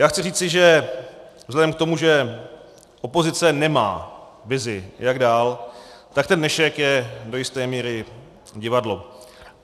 Já chci říci, že vzhledem k tomu, že opozice nemá vizi, jak dál, tak ten dnešek je do jisté míry divadlo.